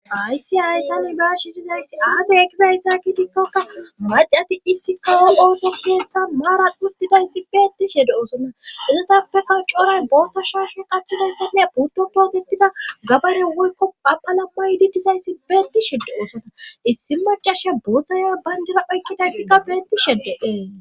Aysi ay tani baashi dizayssi aasey egizayssa kidikkokka macati issi kaowol ooso geethan maaran uttidayssi beetti shede osona izatappeka coray booththa shaashe qahidayssanne butto poositida gabaro woykko paphalammaydi dizayssi beetti shedde oosona issi macasha buoththaya bayndera oykkidayssikka beetti sheddeee